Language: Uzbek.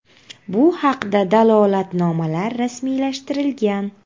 Bu haqda dalolatnomalar rasmiylashtirilgan.